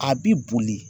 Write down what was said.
A bi boli